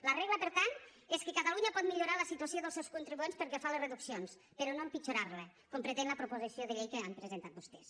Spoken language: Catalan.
la regla per tant és que catalunya pot millorar la situació dels seus contribuents pel que fa a les reduccions però no empitjorarla com pretén la proposició de llei que han presentat vostès